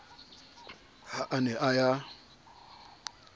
ha a ne a ya